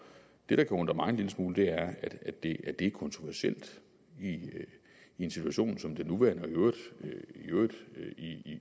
det der kan undre mig en lille smule er at det er kontroversielt i en situation som den nuværende i øvrigt